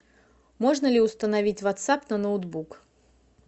можно ли установить ватсап на ноутбук